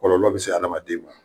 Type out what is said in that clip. Kɔlɔlɔ bɛ se adamaden ma.